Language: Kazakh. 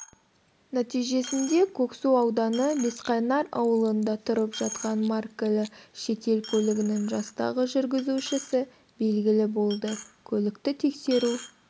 нәтижесінде көксу ауданы бесқайнар ауылында тұрып жатқан маркілі шетел көлігінің жастағы жүргізушісі белгілі болды көлікті тексеру